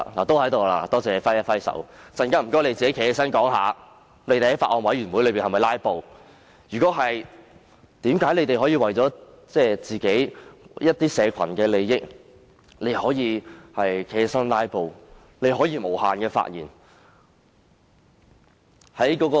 多謝他揮手示意在席，並請他們稍後解釋有否在法案委員會會議上"拉布"；如果有，為何他們可以為自己所代表的某個社群的利益而站起來"拉布"，並且無限次發言？